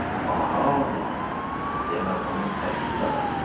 Aha, demə bunun tərsliyi də varmış.